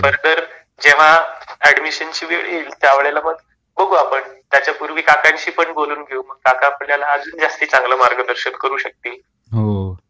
आणि फर्थर जेव्हा ऍडमिशनची वेळ येईल त्या वेळेला मग बघू आपण. त्याच्या पूर्वी काकांशी पण बोलून घेऊ मग. मग काका आपल्याला अजून जास्ती चांगल मार्गदर्शन करू शकतील.